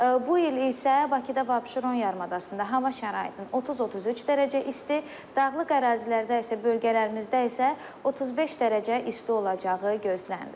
Bu il isə Bakıda və Abşeron yarımadasında hava şəraitinin 30-33 dərəcə isti, dağlıq ərazilərdə isə, bölgələrimizdə isə 35 dərəcə isti olacağı gözlənilir.